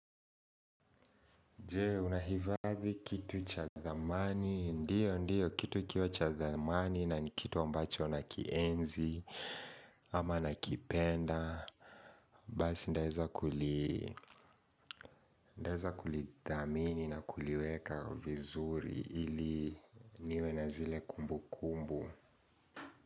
Jee, unahifadhi kitu cha thamani, ndiyo, ndiyo, kitu kikiwa cha thamani na kitu ambacho nakienzi, ama nakipenda, basi nitaweza nitaweza kulithamini na kuliweka vizuri ili niwe na zile kumbu kumbu.